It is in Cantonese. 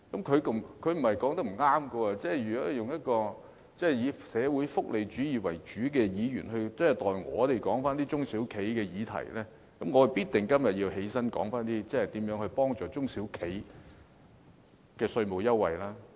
他所說的並非不正確，如果主要關心社會福利主義的議員都代我們討論中小企的議題，那麼我今天必定要站起來說說如何幫助中小企取得稅務優惠。